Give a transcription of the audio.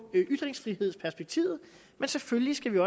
ytringsfrihedsperspektivet selvfølgelig skal vi